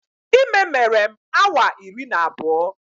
Ime mere m awa iri na abụọ